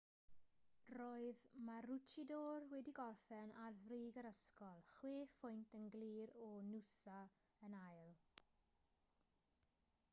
roedd maroochydore wedi gorffen ar frig yr ysgol chwe phwynt yn glir o noosa yn ail